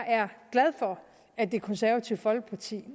glad for at det konservative folkeparti